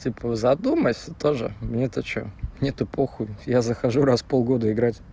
задумайся тоже мне то что мне то похуйя захожу раз в полгода